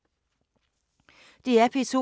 DR P2